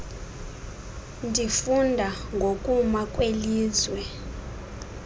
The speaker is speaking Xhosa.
ndifunda ngokuma kwelizwe